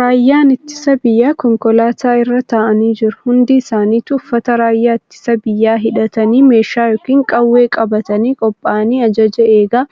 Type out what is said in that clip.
Raayyaan ittisa biyyaa konkolaataa irra taa'anii jiru. Hundi isaanituu uffata raayyaa ittisa biyyaa hidhatanii meeshaa yookiin qawwee qabatanii qophaa'anii ajaja eegaa